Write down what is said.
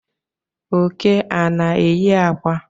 Oke ana enyi akwa?